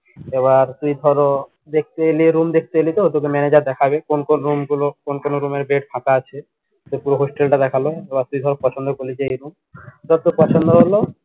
আবার তুই ধরো দেখতে এলি room দেখতে এলি তো তোকে manager দেখাবে কোন কোন room গুলো কোন কোন room এর bed ফাঁকা আছে পুরো hostel তা দেখালো তুই ধর পছন্দ করলি যে এই room ধর তোর পছন্দ হলো